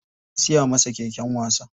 An siya masa keken wasa.